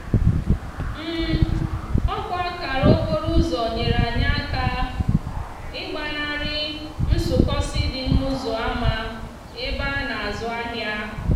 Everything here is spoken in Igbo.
òkwa akara okporoúzò nyere anyi aka igbanari nsúkósi di n'úzò ama ebe a na azú ahia.